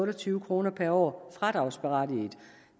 og tyve kroner per år fradragsberettiget